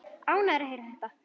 Ánægður að heyra þetta.